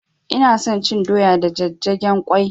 Ina son cin doya da jajjagen ƙwai